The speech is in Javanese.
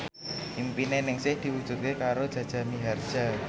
impine Ningsih diwujudke karo Jaja Mihardja